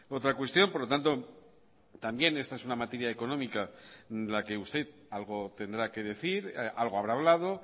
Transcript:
otra cuestión por lo tanto también esta es una materia económica en la que usted algo tendrá que decir algo habrá hablado